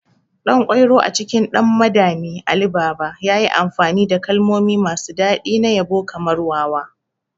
Ɗankwairo a cikin 'Ɗan Madami Ali Baba' yayi amfani da kalmomi masu daɗi na yabo kamar "wawa".